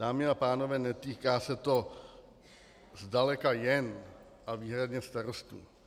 Dámy a pánové, netýká se to zdaleka jen a výhradně starostů.